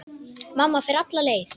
Mamma fer alla leið.